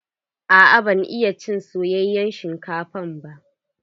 Aa ban iya cin soyayen shinkafa ba.